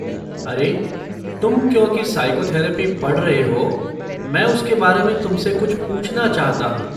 अरे, तुम क्योंकि साइकोथेरपी पढ़ रहे हो, मैं उसके बारे में तुमसे कुछ पूछना चाहता हूँ।